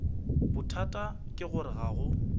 bothata ke gore ga go